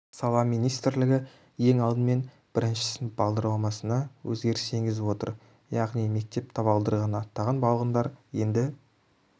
сала министрлігі ең алдымен бірінші сынып бағдарламасына өзгеріс енгізіп отыр яғни мектеп табалдырығын аттаған балғындар енді